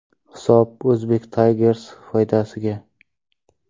Hisob Uzbek Tigers foydasiga.